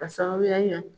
Ka sababuya kɛ